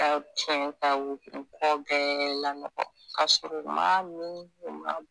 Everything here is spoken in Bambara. Ka wotoro mɔgɔ bɛɛ lanɔgɔn ka sɔrɔ u m'a min, u m'a bɔn.